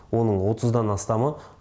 оның отыздан астамы